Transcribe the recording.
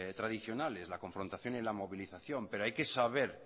tradicionales la confrontación y la movilización pero hay que saber